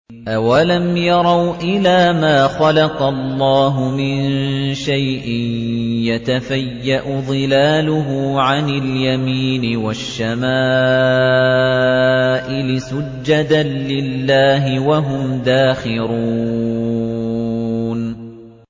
أَوَلَمْ يَرَوْا إِلَىٰ مَا خَلَقَ اللَّهُ مِن شَيْءٍ يَتَفَيَّأُ ظِلَالُهُ عَنِ الْيَمِينِ وَالشَّمَائِلِ سُجَّدًا لِّلَّهِ وَهُمْ دَاخِرُونَ